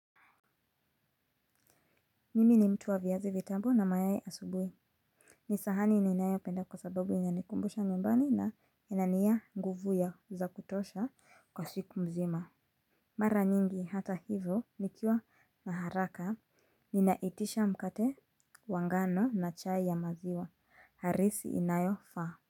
Mimi ni mtu wa viazi vitamu na mayai asubuhi. Ni sahani ninayopenda kwa sababu inanikumbusha nyumbani na ina nia nguvu za kutosha kwa siku mzima. Mara nyingi hata hivo nikiwa na haraka. Ninaitisha mkate wa ngano na chai ya maziwa. Harisi inayofaa.